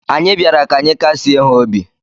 Anyị bịara ka anyị kasịe ha obi.